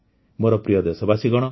ମୋର ପ୍ରିୟ ଦେଶବାସୀଗଣ